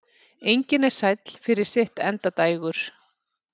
Engin er sæll fyrir sitt endadægur.